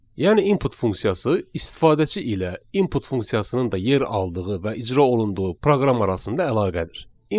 Yəni input funksiyası istifadəçi ilə input funksiyasının da yer aldığı və icra olunduğu proqram arasında əlaqədir.